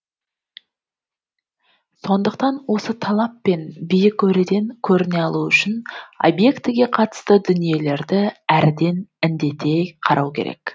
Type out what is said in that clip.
сондықтан осы талап пен биік өреден көріне алу үшін объектіге қатысты дүниелерді әріден індете қарау керек